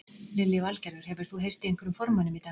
Lillý Valgerður: Hefur þú heyrt í einhverjum formönnum í dag?